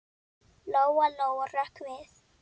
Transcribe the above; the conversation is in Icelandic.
Lóa-Lóa hrökk við.